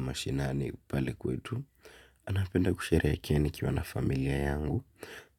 Mashinani pale kwetu, napenda kusherehekea nikiwa na familia yangu,